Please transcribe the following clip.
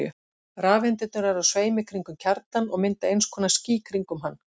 Rafeindirnar eru á sveimi kringum kjarnann og mynda eins konar ský kringum hann.